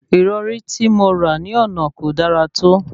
Ìrọ̀rí tí mo rà ní àná kò dára tó